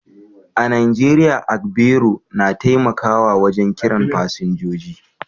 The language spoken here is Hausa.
A Najeriya, agbero na taimakawa wajen kiran fasinjoji